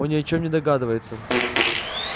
он ни о чем не догадывается